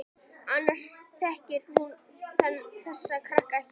Annars þekkir hún þessa krakka ekki neitt.